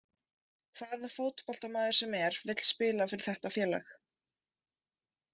Hvaða fótboltamaður sem er vill spila fyrir þetta félag.